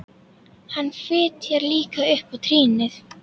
Hann fitjar líka upp á trýnið.